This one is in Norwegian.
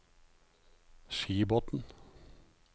Skibotn